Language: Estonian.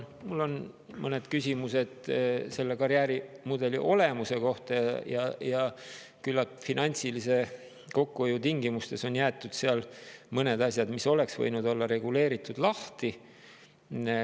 Samas mul on mõned küsimused selle karjäärimudeli olemuse kohta ja küllalt suure finantsilise kokkuhoiu tingimustes on jäetud seal mõned asjad, mis oleks võinud olla reguleeritud, lahti.